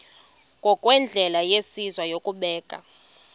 ngokwendlela yesizwe yokubeka